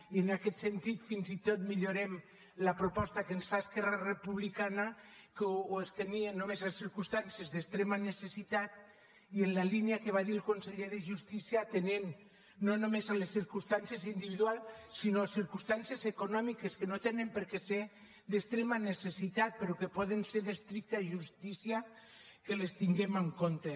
i en aquest sentit fins i tot millorem la proposta que ens fa esquerra republicana que ho estenia només a circumstàncies d’extrema necessitat i en la línia que va dir el conseller de justícia atenent no només les circumstàncies individuals sinó circumstàncies econòmiques que no tenen per què ser d’extrema necessitat però que pot ser d’estricta justícia que les tinguem en compte